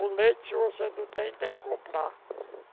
O leite, se você não tem, tem que comprar.